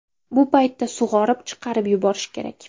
Bu paytda sug‘orib, chiqarib yuborish kerak.